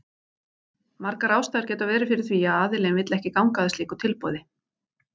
Margar ástæður geta verið fyrir því að aðilinn vill ekki ganga að slíku tilboði.